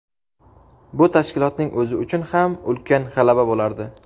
bu tashkilotning o‘zi uchun ham ulkan g‘alaba bo‘lardi.